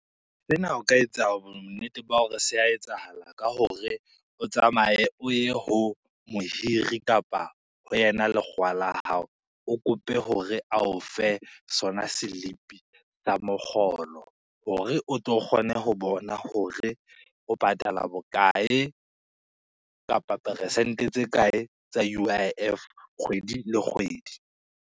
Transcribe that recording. Sena o ka etsa bonnete ba hore se a etsahala ka hore, o tsamaye o ye ho mohiri kapa ho yena lekgowa la hao o kope hore a o fe sona selipi sa mokgolo, hore o tlo kgone ho bona hore o patala bokae kapa peresente tse kae tsa U_I_F kgwedi le kgwedi.